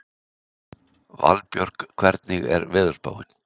Valbjörk, hvernig er veðurspáin?